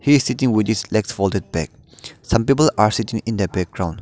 he is sitting with his legs folded back some people are sitting in the background.